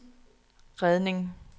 redning